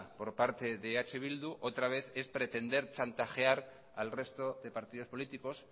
por parte de eh bildu otra vez es pretender chantajear al resto de partidos políticos